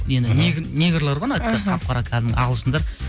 негрлар ғой іхі қап қара кәдімгі ағылшындар